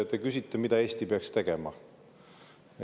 Te küsite, mida Eesti peaks tegema.